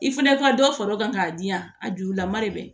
I fana ka dɔ fara o kan k'a di yan a jurulama de bɛ yen